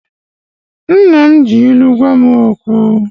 Nna m ji ilu gwa m okwu